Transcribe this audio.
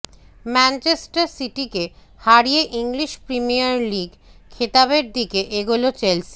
Manchester সিটিকে হারিয়ে English premier league খেতাবের দিকে এগোলো চেলসি